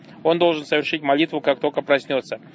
он должен совершить молитву как только проснётся